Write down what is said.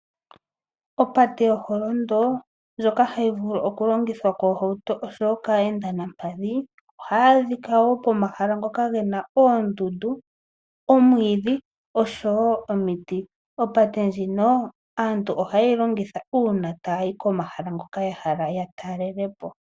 Opate yo holondo, ndjoka hayi vulu okulongithwa koohauto nenge kaa yenda nampadhi, ihayi adhika wo komahala ngoka gena oondundu, omwiidhi noshowo omiti. Opate ndjino aantu oha yeyi longitha uuna tayi komahala ngoka ya hala ya talelepo.